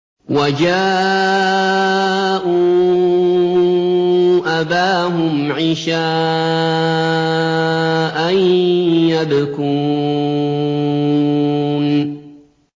وَجَاءُوا أَبَاهُمْ عِشَاءً يَبْكُونَ